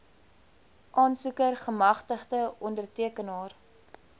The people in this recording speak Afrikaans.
aansoeker gemagtigde ondertekenaar